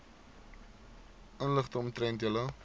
inligting omtrent julle